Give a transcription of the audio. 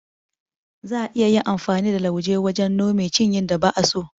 Za'a iya yin amfani da lauje wajen nome ciyYin da ba'a so.